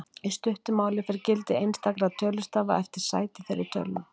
Í stuttu máli fer gildi einstakra tölustafa eftir sæti þeirra í tölunni.